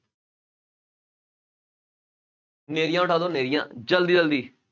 ਹਨੇਰੀਆਂ ਉੱਡਾ ਦਿਓ ਹਨੇਰੀਆਂ, ਜ਼ਲਦੀ ਜ਼ਲਦੀ।